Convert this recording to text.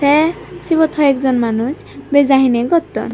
te sut hoi ek jon manuj beja hine gotton.